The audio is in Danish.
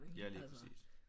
Ja lige præcis